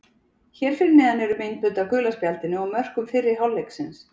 Hér fyrir neðan eru myndbönd af gula spjaldinu og mörkum fyrri hálfleiksins.